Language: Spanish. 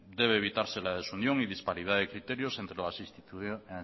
debe evitarse la desunión y disparidad de criterios entre